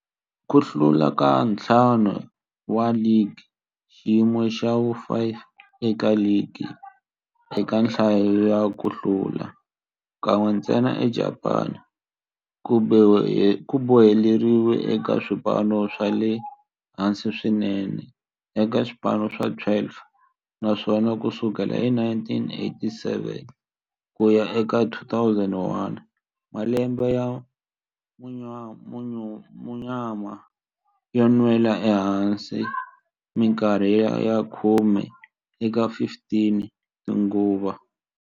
Ku hlula ka ntlhanu wa ligi, xiyimo xa vu-5 eka ligi eka nhlayo ya ku hlula, kan'we ntsena eJapani, ku boheleriwile eka swipano swa le hansi swinene eka swipano swa 12, naswona ku sukela hi 1987 ku ya eka 2001, malembe ya munyama yo nwela ehansi minkarhi ya khume eka 15 tinguva.